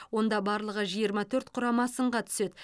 онда барлығы жиырма төрт құрама сынға түседі